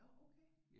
Nåh okay